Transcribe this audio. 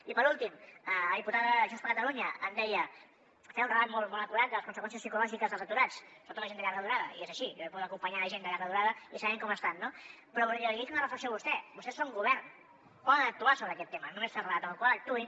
i per últim la diputada de junts per catalunya em deia feia un relat molt acurat de les conseqüències psicològiques dels aturats sobretot la gent de llarga durada i és així jo he pogut acompanyar gent de llarga durada i sabem com estan no però jo li dic una reflexió a vostè vostès són govern poden actuar sobre aquest tema no només fer relat amb la qual cosa actuïn